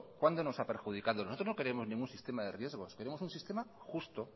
cuándo nos ha perjudicado nosotros no queremos ningún sistema de riesgos queremos un sistema justo